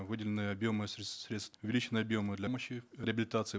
выделены объемы средств увеличены реабилитации